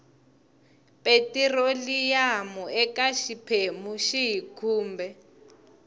petiroliyamu eka xiphemu xihi kumbe